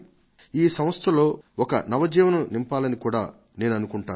ఈ సంస్థలలో ఒక నవజీవం నింపాలని కూడా నేననుకుంటాను